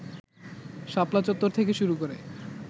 শাপলা চত্বর থেকে শুরু করে